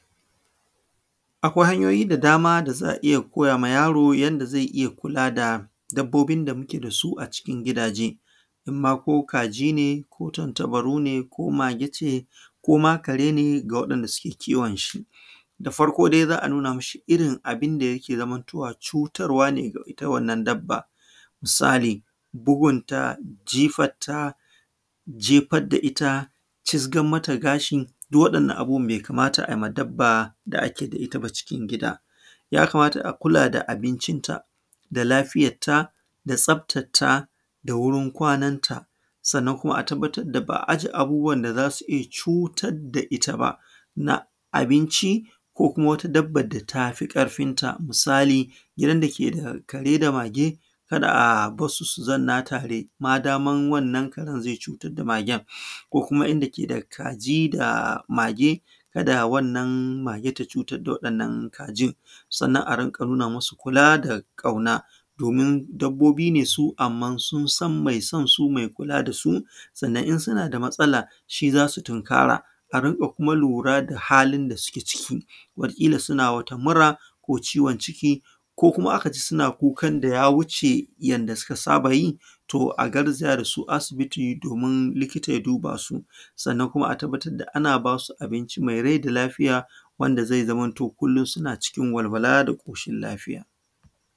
Akwai hanyoyin da za a iya koyawa yaro don ya riƙa kula da dabbobin da muke da su a cikin gidaje. In ma ko kaji ne, ko tantabaru ne, ko mage ce ko ma kare ne ga waɗanda suke kiwon shi. Da farko dai za a nuna mishi irin abinda ya ke zamantowa cutarwa ce ga wannan dabba. Misali, bugunta, jifanta, jefar da ita, cizgan mata gashi duk waɗannan abubuwan bai kamata arinƙa yi wa dabban da ake da ita cikin gida. Jakamata a kula da abincinta da lafiyarta da tsaftarta da wurin kwananta. Sannan kuma a tabbatar a ba aje wasu abubuwan da za su rinƙa cutar da ita ba, na abinci ko kuma wata dabbar da ta fi ƙarfinta. misaali, gidan da ke da kare da mage ba a iya barinsu su zamna tare madaman wannan karen zai iya cutar da magen. Ko kuma inda ke da kaji da mage kada wannan magen ta cutar da waɗannan kajin. Sannan a rinƙa nuna masu kula da ƙauna domin dabbobi ne su amma sun san mai son su, mai kulaa da su. Sannan in suna da matsala shi za su tunkara. A rinƙa kuma a lura da halin da suke ciki, wataƙila suna mura ko ciwon ciki ko kuma zaa ka ji suna kukan da ya wuce yanda suka saba yi, to a garzaya da su asibiti domin likita ya dubaa su. Sannan kuma a tabbatar da ana ba su abinci mai rai da lafiya wanda zai zamo sun cikin walwala da ƙoshin laafiya.